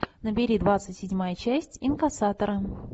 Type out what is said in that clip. набери двадцать седьмая часть инкассатора